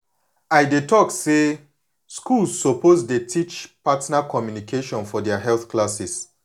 i dey talk say schools suppose dey teach partner communication for their health classes